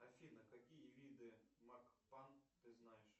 афина какие виды мак пан ты знаешь